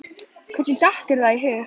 Hvernig datt þér það í hug?